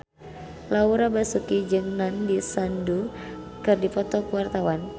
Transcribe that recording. Laura Basuki jeung Nandish Sandhu keur dipoto ku wartawan